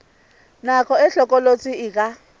nako e hlokolosi e ka